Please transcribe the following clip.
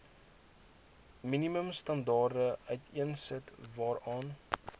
minimumstandaarde uiteensit waaraan